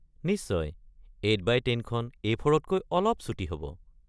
নিশ্চয়, ৮x১০ খন এ.ফ’ৰ-তকৈ অলপ চুটি হ’ব।